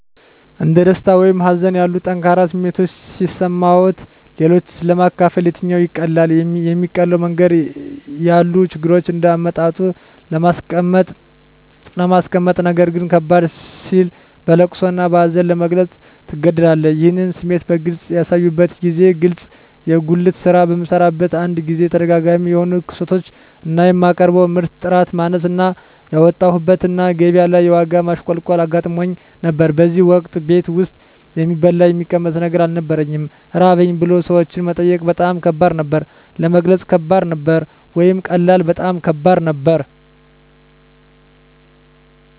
እንደ ደስታ ወይም ሀዘን ያሉ ጠንካራ ስሜቶች ሲሰማዎት-ለሌሎች ለማካፈል የትኛው ይቀላል? የሚቀለው መንገድ ያሉ ችግሮችን እንደ አመጣጡ ለማስቀመጥነገር ግን ከበድ ሲል በለቅሶ እና በሀዘን ለመግለፅ ትገደዳለህ ይህን ስሜት በግልጽ ያሳዩበትን ጊዜ ግለጹ የጉልት ስራ በምሰራበት አንድ ጊዜ ተደጋጋሚ የሆኑ ክስረቶች እና የማቀርበው ምርት ጥራት ማነስ እና ያወጣሁበት እና ገቢያ ላይ የዋጋ ማሽቆልቆል አጋጥሞኝ ነበር በዚያን ወቅት ቤት ውስጥ የሚበላ የሚቀመስ ነገር አልነበረኝም ራበኝ ብሎ ሰዎችን መጠየቅ በጣም ከባድ ነበር። ለመግለጽ ከባድ ነበር ወይስ ቀላል? በጣም ከባድ ነበር